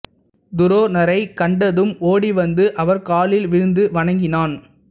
துரோணரைக் கண்டதும் ஓடி வந்து அவர் காலில் விழுந்து வணங்கினான்